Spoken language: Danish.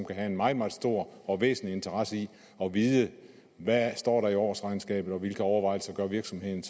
kan have en meget meget stor og væsentlig interesse i at vide hvad der står i årsregnskabet og hvilke overvejelser virksomheden